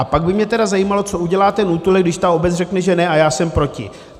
A pak by mě tedy zajímalo, co udělá ten útulek, když ta obec řekne že ne, a já jsem proti.